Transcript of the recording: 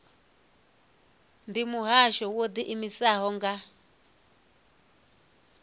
ndi muhasho wo ḓiimisaho nga